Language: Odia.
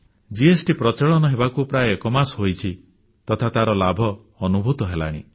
ଜିଏସଟି ପ୍ରଚଳନ ହେବାର ପ୍ରାୟ ଏକମାସ ବିତିଛି ତଥା ତାର ଲାଭ ଅନୁଭୂତ ହେଲାଣି